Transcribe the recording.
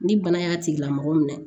Ni bana y'a tigila mɔgɔ minɛ